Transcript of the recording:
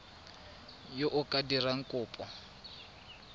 yo o ka dirang kopo